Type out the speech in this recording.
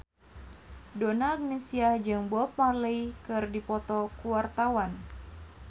Donna Agnesia jeung Bob Marley keur dipoto ku wartawan